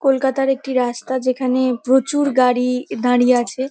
কলকাতার একটি রাস্তা যেখানে প্রচুর গাড়ি দাঁড়িয়ে আছে।